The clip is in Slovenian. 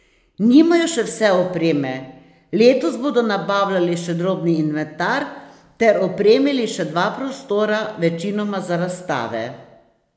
Nimajo še vse opreme, letos bodo nabavljali še drobni inventar ter opremili še dva prostora, večinoma za razstave.